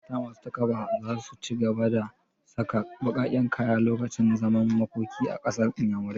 Mata masu takaba za su ci gaba da sa baƙaƙen kaya lokacin zaman makoki a ƙasar inyamurai